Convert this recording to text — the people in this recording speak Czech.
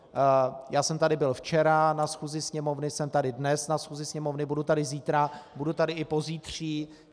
Já jsem tady byl včera na schůzi Sněmovny, jsem tady dnes na schůzi Sněmovny, budu tady zítra, budu tady i pozítří.